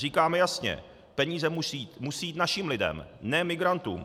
Říkáme jasně - peníze musí jít našim lidem, ne migrantům.